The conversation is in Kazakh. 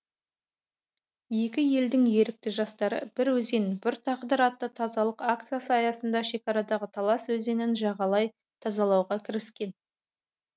екі елдің ерікті жастары бір өзен бір тағдыр атты тазалық акциясы аясында шекарадағы талас өзенін жағалай тазалауға кіріскен